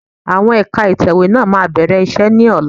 Àwọn ẹ̀ka ìtẹ̀wẹ́ náà máa bẹ̀rẹ̀ iṣẹ́ ni ọ̀la